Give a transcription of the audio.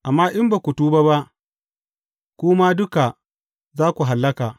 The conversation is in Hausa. Amma in ba ku tuba ba, ku ma duka za ku hallaka.